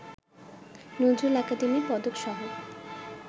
Nazrul academy পদকসহ